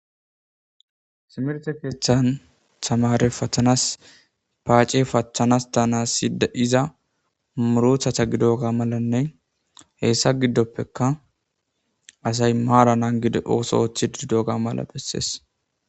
simerte keeththan tamare fathanas paace facththanas tanaside iza murothata gidoga malanne heessa giddoppeka asay maara nangide ooso oothi dido ga mala bessees